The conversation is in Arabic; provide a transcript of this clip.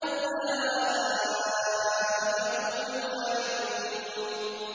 أُولَٰئِكَ هُمُ الْوَارِثُونَ